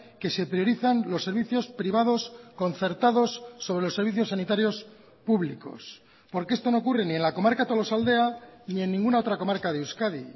que se priorizan los servicios privados concertados sobre los servicios sanitarios públicos porque esto no ocurre ni en la comarca tolosaldea ni en ninguna otra comarca de euskadi